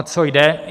O co jde?